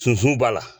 Sunsun b'a la